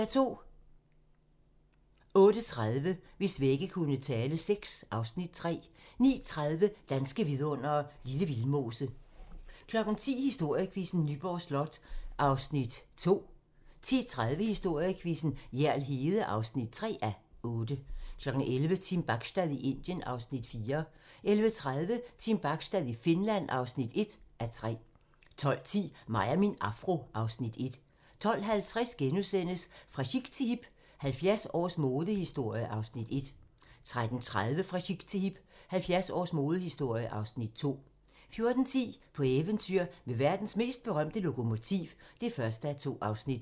08:30: Hvis vægge kunne tale VI (Afs. 3) 09:30: Danske vidundere: Lille Vildmose 10:00: Historiequizzen: Nyborg Slot (2:8) 10:30: Historiequizzen: Hjerl Hede (3:8) 11:00: Team Bachstad i Indien (Afs. 4) 11:30: Team Bachstad i Finland (1:3) 12:10: Mig og min afro (Afs. 1) 12:50: Fra chic til hip - 70 års modehistorie (Afs. 1)* 13:30: Fra chic til hip - 70 års modehistorie (Afs. 2) 14:10: På eventyr med verdens mest berømte lokomotiv (1:2)